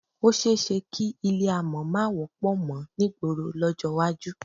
Ó s̩e é s̩e kí ilé àmò̩ má wó̩pò̩ mo̩ nígboro ló̩jó̩ iwájú